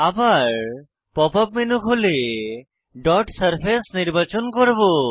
আবার pop up menu খুলে dot surface নির্বাচন করব